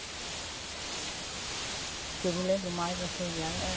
O que eu me lembro mais dessas viagens?